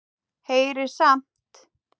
Heyrir samt.